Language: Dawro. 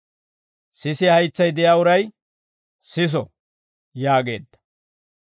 Sisiyaa haytsay de'iyaa uray siso!» yaageedda.